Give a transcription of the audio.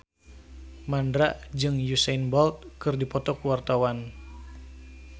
Mandra jeung Usain Bolt keur dipoto ku wartawan